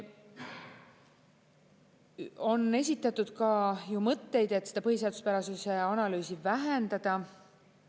On esitatud ka ju mõtteid, et seda põhiseaduspärasuse analüüsi vähendada.